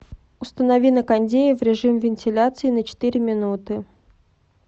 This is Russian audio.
установи на кондее в режим вентиляции на четыре минуты